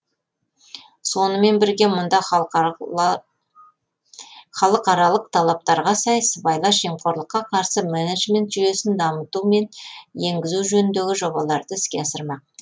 сонымен бірге мұнда халықаралық талаптарға сай сыбайлас жемқорлыққа қарсы менеджмент жүйесін дамыту мен енгізу жөніндегі жобаларды іске асырмақ